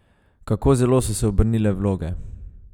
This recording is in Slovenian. Kako zelo so se obrnile vloge!